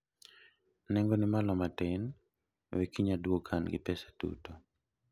nengo ni ni malo matin, we kiny adwog ka an gi pesa duto